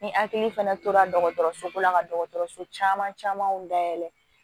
Ni hakili fɛnɛ tora dɔgɔtɔrɔso ko la ka dɔgɔtɔrɔso caman camanw dayɛlɛ